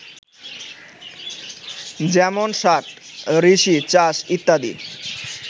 যেমন ষাট, ঋষি, চাষ, ইত্যাদি